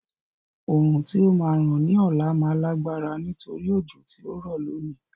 Oòrùn tí ó máa ràn ní ọ̀la máa lágbára nítorí òjò tí ó rọ̀ lónìí.